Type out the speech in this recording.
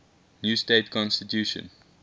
new state constitution